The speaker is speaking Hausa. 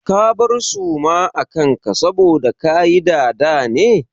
Ka bar suma a kan ka saboda kayi dada ne?